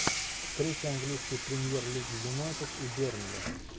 встреча английской премьер лиги юнайтед и бернли